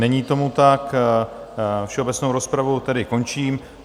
Není tomu tak, všeobecnou rozpravu tedy končím.